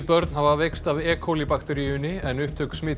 börn hafa veikst af e bakteríunni en upptök